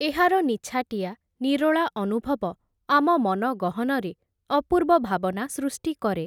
ଏହାର ନିଛାଟିଆ ନିରୋଳା ଅନୁଭବ, ଆମ ମନ ଗହନରେ, ଅପୂର୍ବ ଭାବନା ସୃଷ୍ଟି କରେ ।